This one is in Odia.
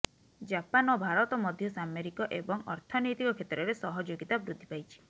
ଜାପାନ ଓ ଭାରତ ମଧ୍ୟ ସାମରିକ ଏବଂ ଅର୍ଥନୈତିକ କ୍ଷେତ୍ରରେ ସହଯୋଗିତା ବୃଦ୍ଧି ପାଇଛି